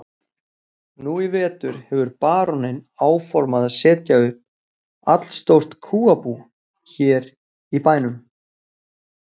Nú í vetur hefur baróninn áformað að setja upp allstórt kúabú hér í bænum.